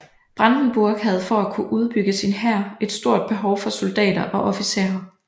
Brandenburg havde for at kunne udbygge sin hær et stort behov for soldatter og officerer